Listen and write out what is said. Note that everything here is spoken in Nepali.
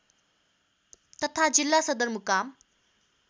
तथा जिल्ला सदरमुकाम